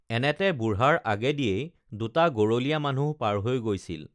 এনেতে বুঢ়াৰ আগেদিয়েই দুটা গৰলীয়া মানুহ পাৰ হৈ গৈছিল